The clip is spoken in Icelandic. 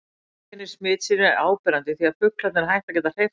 Einkenni smitsins eru áberandi því fuglarnir hætta að geta hreyft sig eðlilega.